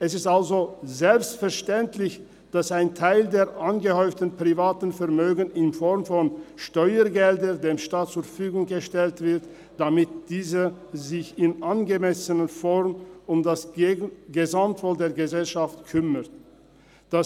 Es ist also selbstverständlich, dass ein Teil der angehäuften privaten Vermögen in Form von Steuergeldern dem Staat zur Verfügung gestellt wird, damit dieser sich in angemessener Form um das Gesamtwohl der Gesellschaft kümmern kann.